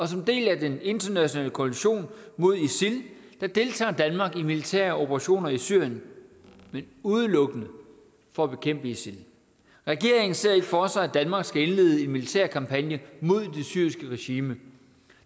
som en del af den internationale koalition mod isil deltager danmark i militære operationer i syrien men udelukkende for at bekæmpe isil regeringen ser ikke for sig at danmark skal indlede en militær kampagne mod det syriske regime